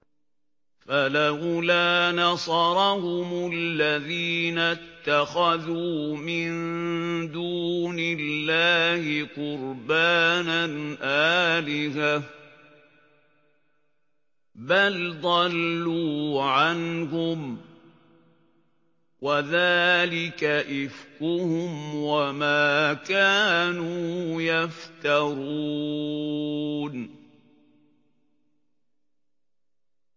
فَلَوْلَا نَصَرَهُمُ الَّذِينَ اتَّخَذُوا مِن دُونِ اللَّهِ قُرْبَانًا آلِهَةً ۖ بَلْ ضَلُّوا عَنْهُمْ ۚ وَذَٰلِكَ إِفْكُهُمْ وَمَا كَانُوا يَفْتَرُونَ